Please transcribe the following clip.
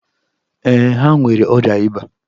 Ee, ha nwere ọrịa ịba.